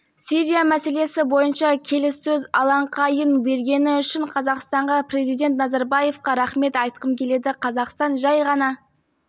сирия мәселесі бойынша келіссөз алаңқайын бергені үшін қазақстанға президент назарбаевқа рахмет айтқым келеді қазақстан жәй ғана